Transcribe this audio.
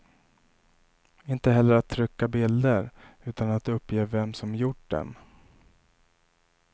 Inte heller att trycka bilder utan att uppge vem som gjort dem.